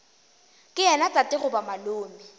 ke yena tate goba malome